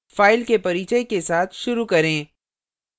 files के परिचय के साथ शुरू करें